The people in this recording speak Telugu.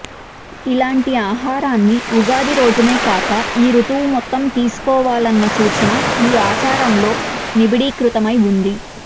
ఇలాంటి ఆహారాన్ని ఉగాది రోజునే కాక ఈ ఋతువు మొత్తం తీసుకోవాలన్న సూచన ఈ ఆచారంలో నిబిడీకృతమై ఉంది